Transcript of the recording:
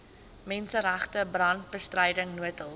menseregte brandbestryding noodhulp